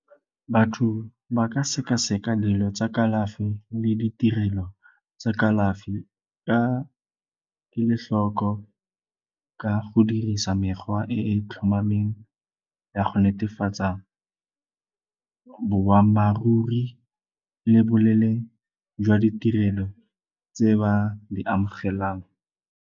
Batho ba ka sekaseka dilo tsa kalafi le ditirelo tsa kalafi ka kelotlhoko ka go dirisa mekgwa e e tlhomameng ya go netefatsa boammaaruri le bolele jwa ditirelo tse ba di amogelang.